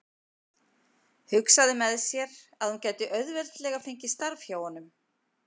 Hugsaði með sér að hún gæti auðveldlega fengið starf hjá honum.